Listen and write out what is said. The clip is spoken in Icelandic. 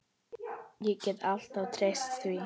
Ég gat alltaf treyst því.